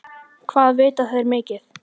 Hvað vita þeir mikið?